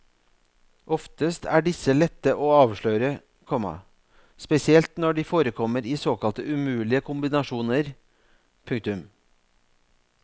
Oftest er disse lette å avsløre, komma spesielt når de forekommer i såkalte umulige kombinasjoner. punktum